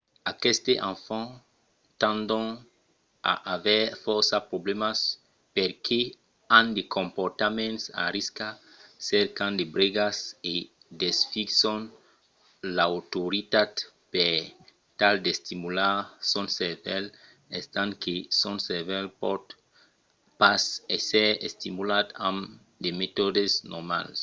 aquestes enfants tendon a aver fòrça problèmas perque an de comportaments a risca cercan de bregas e desfison l'autoritat per tal d'estimular son cervèl estant que son cervèl pòt pas èsser estimulat amb de metòdes normals